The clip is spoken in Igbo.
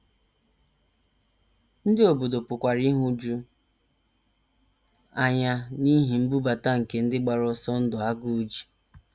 Ndị obodo pụkwara ịhụju anya n’ihi nnubata nke ndị gbara ọsọ ndụ agụụ ji.